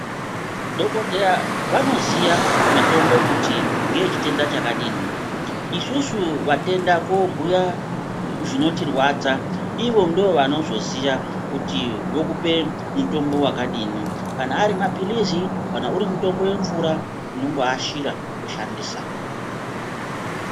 Dhogodheya vanoziya mitombo kuti ngeyechitenda chakadini, isusu matenda koobhuya zvinotirwadza ivo ndivo vanozoziya kuti vokupe mutombo wakadini kana ari maphilizi kana uri mutombo wemvura tinongoashira toshandisa.